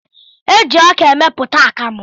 Eji ọka emepụta akamụ.